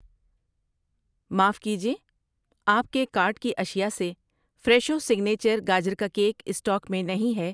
معاف کیجیے، آپ کے کارٹ کی اشیاء سے فریشو سیگنیچر گاجر کا کیک اسٹاک میں نہیں ہے۔